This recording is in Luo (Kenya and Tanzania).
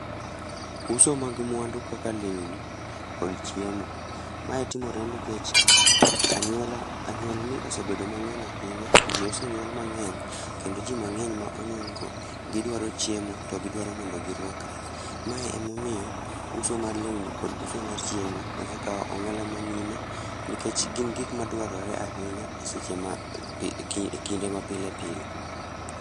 Uso mag mwandu kaka lewni, kod chiemo. Mae timore nikech anyuola anyuolni osebedo mang'eny ahinya, jii osenyuol mang'eny, kendo jii mang'eny ma onyuol go, gidwaro chiemo to gidwaro mondo girwakre. Mae emomiyo, uso mar lewni kod uso mar chiemo, osekaw ong'ala manyime, nikech gin gik madwarore ahinya e seche ma kinde mapilepile